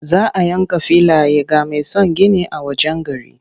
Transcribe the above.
Za a yanka filaye ga mai son yin gini a wajen gari.